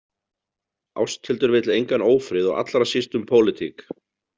Ásthildur vill engan ófrið og allra síst um pólitík.